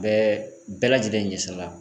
Bɛɛ bɛɛ lajɛlen ɲɛsirala